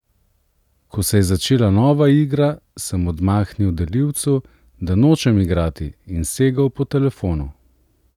Ko se je začela nova igra, sem odmahnil delivcu, da nočem igrati, in segel po telefonu.